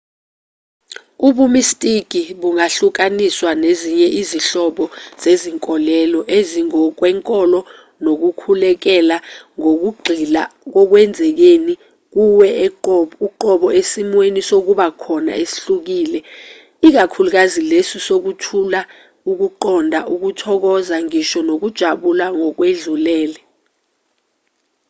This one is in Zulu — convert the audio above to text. ubumistiki bungahlukaniswa nezinye izinhlobo zezinkolelo ezingokwenkolo nokukhulekela ngokugxila kokwenzekeni kuwe uqobo esimweni sokuba khona esihlukile ikakhulukazi leso sokuthula ukuqonda ukuthokoza ngisho nokujabula ngokwedlulele